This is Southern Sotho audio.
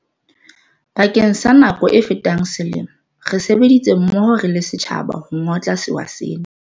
Bakeng sa nako e fetang selemo, re sebeditse mmoho re le setjhaba ho ngotla sewa sena.